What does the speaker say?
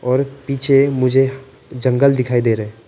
और पीछे मुझे जंगल दिखाई दे रहे हैं।